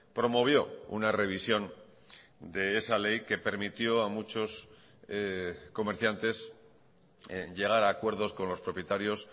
promovió una revisión de esa ley que permitió a muchos comerciantes llegar a acuerdos con los propietarios